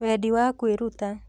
Wendi wa kwĩruta: